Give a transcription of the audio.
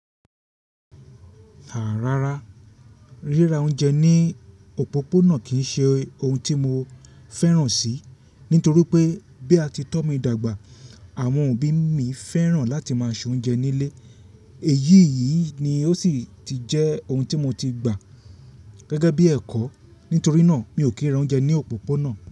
Àá rárá, ríra oúnjẹ ní òpópónà kì í ṣe ohun tí mo fẹ́ràn sì, nítorí pé bí a ti tọ́ mi dàgbà, àwọn òbí mi fẹ́ràn láti máa se oúnjẹ nílé, èyí yìí ni ó sì ti jẹ́ ohun tí mo ti gbà gẹ́gẹ́ bí ẹ̀kọ́. Nítorí náà, mi ò kí ra oúnjẹ ní òpópónà.